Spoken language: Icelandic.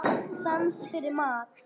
Og sans fyrir mat.